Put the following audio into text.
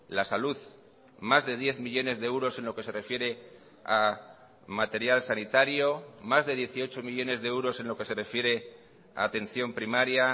la salud más de diez millónes de euros en lo que se refiere a material sanitario más de dieciocho millónes de euros en lo que se refiere a atención primaria